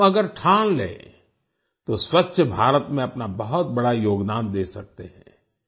हम अगर ठान लें तो स्वच्छ भारत में अपना बहुत बड़ा योगदान दे सकते हैं